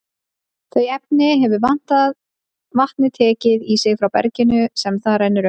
Þau efni hefur vatnið tekið í sig frá berginu sem það rennur um.